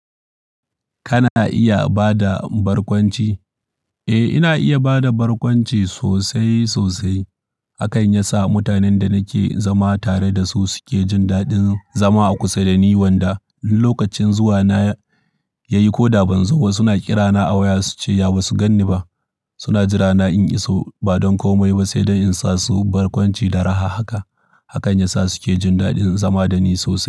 Kana iya ba da barkwanci? Eh, ina iya ba da barkwanci sosai sosai. Hakan yasa mutanen da nake zama tare da su suke jin daɗin zama a kusa da ni. Wanda, lokacin zuwa na yayi ko da ban zo ba suna kirana a waya suce ya ba su ganni ba. Suna jira na in iso ba don komai ba sai in sa su barkwanci da raha haka. Hakan ya sa suke jin daɗin zama da ni sosai.